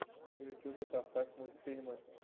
в ютубе поставь мультфильмы